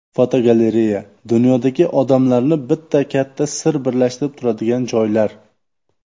Fotogalereya: Dunyodagi odamlarni bitta katta sir birlashtirib turadigan joylar.